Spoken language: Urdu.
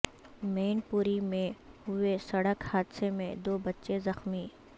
مین پوری میں ہوئے سڑک حادثے میں دو بچے زخمی